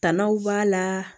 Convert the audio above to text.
Tannaw b'a la